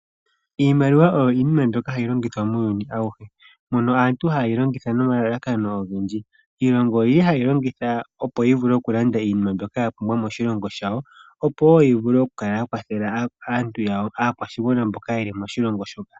Iimaliwa oyo iinima mbyoka hayi longithwa muuyuni awuhe mono aantu haye yi longitha nomalalakano ogendji. Iilongo oyi li haye yi longitha opo yi vule okulanda iinima mbyoka ya pumbwa moshilongo shawo opo wo yi vule okukala ya kwathela aantu yawo, aakwashigwana mboka ye li moshilongo shoka.